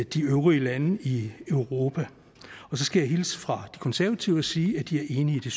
de øvrige landes i europa så skal jeg hilse fra de konservative og sige at de er enige i